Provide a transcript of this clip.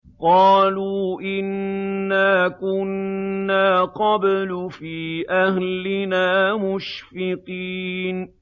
قَالُوا إِنَّا كُنَّا قَبْلُ فِي أَهْلِنَا مُشْفِقِينَ